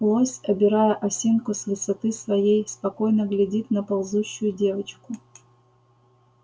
лось обирая осинку с высоты своей спокойно глядит на ползущую девочку